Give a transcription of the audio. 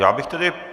Já bych tedy...